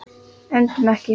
Öndum ekki.